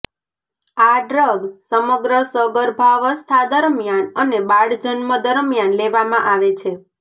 આ ડ્રગ સમગ્ર સગર્ભાવસ્થા દરમિયાન અને બાળજન્મ દરમિયાન લેવામાં આવે છે